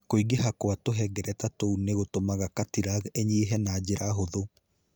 Kũingĩha kwa tuhengereta tũu nĩ gũtũmaga cartilage ĩnyihe na njĩra hũthũ.